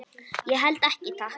Ég held ekki, takk.